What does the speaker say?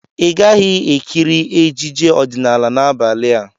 Ị gaghị-ekiri ejije ọdịnala n'abalị a!